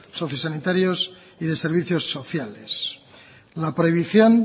sociosanitarios y de servicios sociales la prohibición